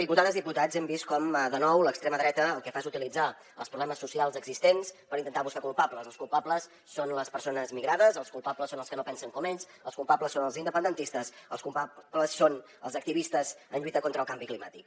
diputades i diputats hem vist com de nou l’extrema dreta el que fa és utilitzar els problemes socials existents per intentar buscar culpables els culpables són les persones migrades els culpables són els que no pensen com ells els culpables són els independentistes els culpables són els activistes en lluita contra el canvi climàtic